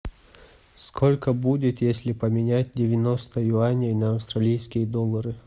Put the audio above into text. сколько будет если поменять девяносто юаней на австралийские доллары